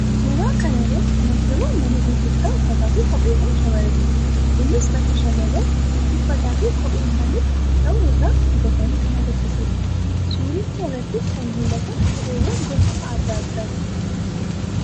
Suuraa kana irratti kan argamu mana gurgurtaa uffataa fi kopheewwan shamarraniiti. Innis bakka shamarran itti uffataa fi kophee isaaniif ta'u irraa bitatan kan agarsiisuudha. Suuricha irrattis kan mul'atan kopheewwan gosa addaa addaati.